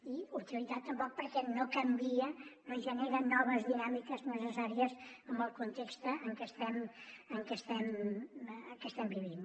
i utilitat tampoc perquè no canvia no genera noves dinàmiques necessàries en el context en què estem vivint